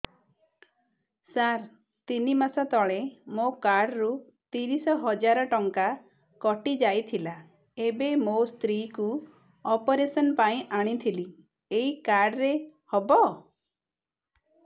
ସାର ତିନି ମାସ ତଳେ ମୋ କାର୍ଡ ରୁ ତିରିଶ ହଜାର ଟଙ୍କା କଟିଯାଇଥିଲା ଏବେ ମୋ ସ୍ତ୍ରୀ କୁ ଅପେରସନ ପାଇଁ ଆଣିଥିଲି ଏଇ କାର୍ଡ ରେ ହବ